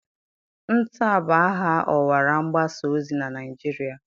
NTA bụ aha ọwara mgbasa ozi na Naịjirịa.